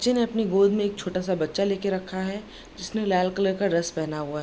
चें ने अपनी गोद मे एक छोटा सा बच्चा ले कर रखा है जिसने लाल कलर का ड्रेस पहना हुआ।